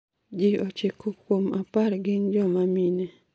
ji ochiko kuom apar gin jomamine